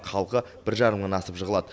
халқы бір жарым мыңнан асып жығылады